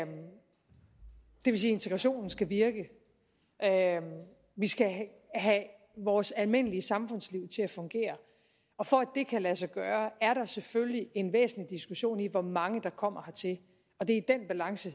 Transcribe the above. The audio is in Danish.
integrationen skal virke vi skal have vores almindelige samfundsliv til at fungere og for at det kan lade sig gøre er der selvfølgelig en væsentlig diskussion i hvor mange der kommer hertil og det er i den balance